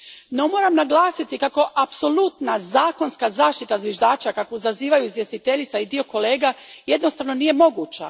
No, moram naglasiti kako apsolutna zakonska zaštita zviždača kakvu zazivaju izvjestiteljica i dio kolega jednostavno nije moguća.